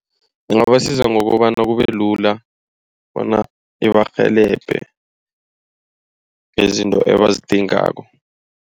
Ingabasiza ngokobana kubelula bona ibarhelebhe ngezinto ebazidingako.